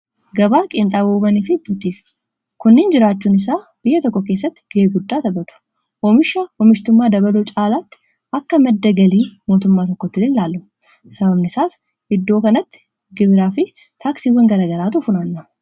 Gabaa qiinxaabowwaniifi buutikii kunniin jiraachuun isaa biyya tokko keessatti ga'ee guddaa taphatu oomishaf omishtummaa dabaluu caalaatti akka madda galii mootummaa tokkottilee in laalla . sababniisaas iddoo kanatti gibiraa fi taaksiiwwan garagaraatu funaanama.